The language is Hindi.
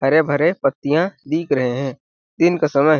हरे -भरे पत्तियाँ दिख रहे है दिन का समय --